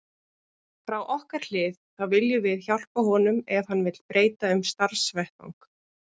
Frá okkar hlið þá viljum við hjálpa honum ef hann vill breyta um starfsvettvang.